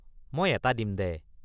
মই এটা দিম দে?